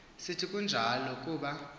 sithi akunjalo kuba